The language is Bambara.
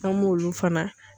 An m'olu fana